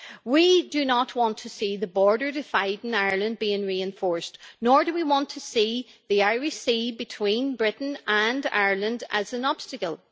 We do not want to see the border dividing Ireland being reinforced, nor do we want to see the Irish Sea between Britain and Ireland as an obstacle.